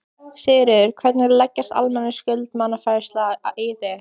Sigríður: Hvernig leggst almenn skuldaniðurfærsla í þig?